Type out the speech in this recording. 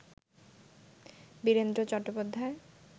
Virender Chattopadhyay